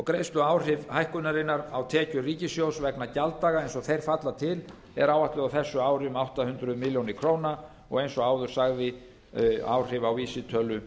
greiðsluáhrif hækkunarinnar á tekjur ríkissjóðs vegna gjalddaga eins og þeir falla til er áætlað á þessu ári um áætluð um átta hundruð milljóna króna og eins og áður sagði áhrif á vísitölu